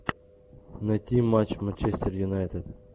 найти матч манчестер юнайтед